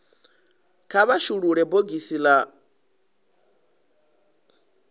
kha vha shulule bogisi la